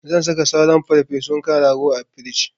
Zan saka sauran farfesun kan rago a frij.